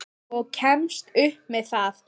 Og kemst upp með það!